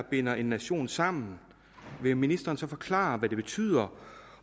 binder en nation sammen vil ministeren så forklare hvad det betyder